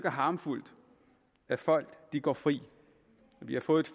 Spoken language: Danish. harme at folk går fri vi har fået